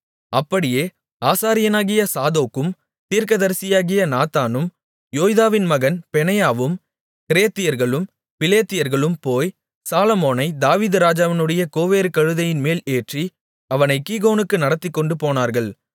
அப்படியே ஆசாரியனாகிய சாதோக்கும் தீர்க்கதரிசியாகிய நாத்தானும் யோய்தாவின் மகன் பெனாயாவும் கிரேத்தியர்களும் பிலேத்தியர்களும் போய் சாலொமோனைத் தாவீது ராஜாவினுடைய கோவேறுகழுதையின்மேல் ஏற்றி அவனைக் கீகோனுக்கு நடத்திக்கொண்டு போனார்கள்